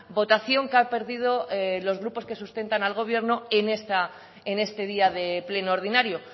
votación que han perdido los grupos que sustentan al gobierno en este día de pleno ordinario